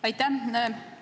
Aitäh!